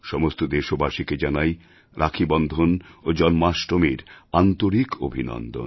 সমস্ত দেশবাসীকে জানাই রাখীবন্ধন ও জন্মাষ্টমীর আন্তরিক অভিনন্দন